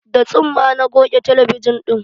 Da tsumma na goge talabijan ɗin